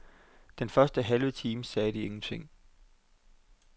Den første halve time sagde de ingenting.